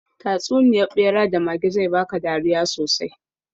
Tatsuniyar ɓera da mage zai baka dariya sosai.